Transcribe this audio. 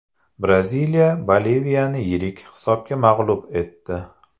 Braziliya Boliviyani yirik hisobda mag‘lub etdi .